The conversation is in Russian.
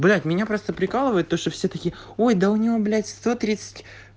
блять меня просто прикалывает то что все такие ой у него блять сто тридцать